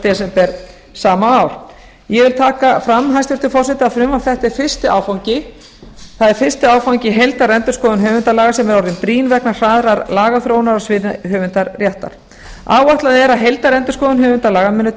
desember sama ár ég vil taka fram hæstvirtur forseti að frumvarp þetta er fyrsti áfangi í heildarendurskoðun höfundalaga sem er orðin brýn vegna hraðrar lagaþróunar á sviði höfundaréttar áætlað er að heildarendurskoðun höfundalaga muni